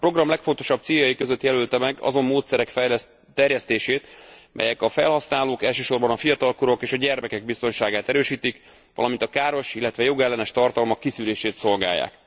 A program legfontosabb céljai között jelölte meg azon módszerek terjesztését, melyek a felhasználók, elsősorban a fiatalkorúak és a gyermekek biztonságát erősítik, valamint a káros, illetve jogellenes tartalmak kiszűrését szolgálják.